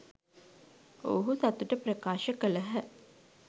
ඔවුහු සතුට ප්‍රකාශ කළහ.